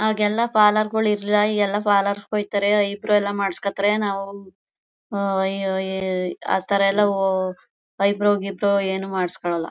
ಆಗೆಲ್ಲ ಪಾರ್ಲರ್ ಇರ್ಲಿಲ್ಲ ಈಗೆಲ್ಲ ಪಾರ್ಲರ್ ಗೆ ಹೋಯಿತಾರೆ ಇಬ್ರೌಯೆಲ್ಲ ಮಾಡ್ಸ್ಕೊಂತಾರೆ ನಾವು ಅಹ್ ಅಹ್ ಅಹ್ ಅಥರ ಎಲ್ಲ ಐಬ್ರೌ ಗಿಬ್ರೌ ಏನು ಮಾಡ್ಸ್ಕೊನಲ್ಲ